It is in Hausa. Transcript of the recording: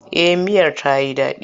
Eh miyar ta yi daɗi.